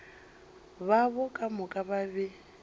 babo ka moka ba be